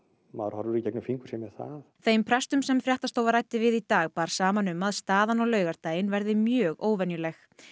maður horfir í gegnum fingur sér með það þeim prestum sem fréttastofa ræddi við í dag bar saman um að staðan á laugardaginn verði mjög óvenjuleg